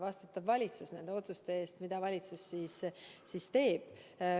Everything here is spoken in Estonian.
Valitsus aga vastutab nende otsuste eest, mida ta teeb.